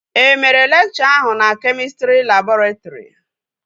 E mere lekchọ ahụ na kemịstrị labọretrị?